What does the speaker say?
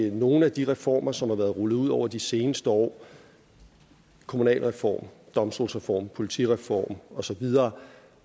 nogle af de reformer som er blevet rullet ud over de seneste år kommunalreform domstolsreform politireform og så videre